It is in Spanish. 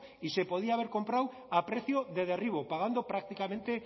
y se podía haber comprado a precio de derribo pagando prácticamente